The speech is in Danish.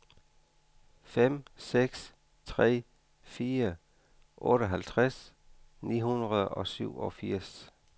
fem seks tre fire otteoghalvtreds ni hundrede og syvogfirs